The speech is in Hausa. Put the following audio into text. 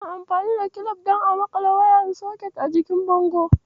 Ana amfani da kilif don a maƙale waya a jikin bango.